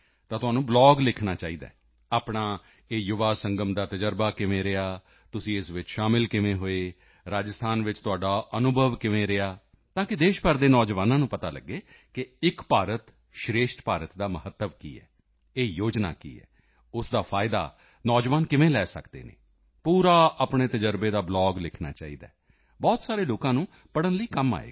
ਤਾਂ ਤੁਹਾਨੂੰ ਬਲੌਗ ਲਿਖਣਾ ਚਾਹੀਦਾ ਹੈ ਆਪਣਾ ਇਹ ਯੁਵਾ ਸੰਗਮ ਦਾ ਤਜ਼ਰਬਾ ਕਿਵੇਂ ਰਿਹਾ ਤੁਸੀਂ ਇਸ ਵਿੱਚ ਸ਼ਾਮਲ ਕਿਵੇਂ ਹੋਏ ਰਾਜਸਥਾਨ ਵਿੱਚ ਤੁਹਾਡਾ ਅਨੁਭਵ ਕਿਵੇਂ ਰਿਹਾ ਤਾਕਿ ਦੇਸ਼ ਭਰ ਦੇ ਨੌਜਵਾਨਾਂ ਨੂੰ ਪਤਾ ਲੱਗੇ ਕਿ ਏਕ ਭਾਰਤ ਸ਼੍ਰੇਸ਼ਠ ਭਾਰਤ ਦਾ ਮਹੱਤਵ ਕੀ ਹੈ ਇਹ ਯੋਜਨਾ ਕੀ ਹੈ ਉਸ ਦਾ ਫਾਇਦਾ ਨੌਜਵਾਨ ਕਿਵੇਂ ਲੈ ਸਕਦੇ ਹਨ ਪੂਰਾ ਆਪਣੇ ਤਜ਼ਰਬੇ ਦਾ ਬਲੌਗ ਲਿਖਣਾ ਚਾਹੀਦਾ ਹੈ ਬਹੁਤ ਸਾਰੇ ਲੋਕਾਂ ਨੂੰ ਪੜ੍ਹਨ ਲਈ ਕੰਮ ਆਵੇਗਾ